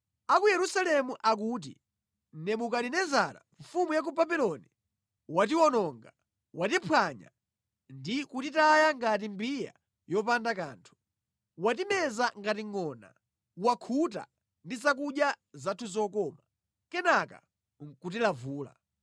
A ku Yerusalemu akuti, “Nebukadinezara mfumu ya ku Babuloni watiwononga, watiphwanya, ndi kutitaya ngati mbiya yopanda kanthu. Watimeza ngati ngʼona, wakhuta ndi zakudya zathu zokoma, kenaka nʼkutilavula.”